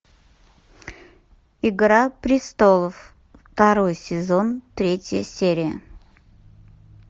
игра престолов второй сезон третья серия